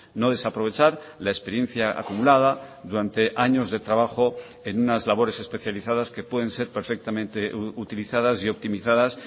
no desaprovechar la experiencia acumulada durante años de trabajo en unas labores especializadas que pueden ser perfectamente utilizadas y optimizadas